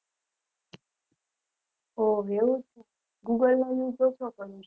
ઓહ એવું google ની જોતો પન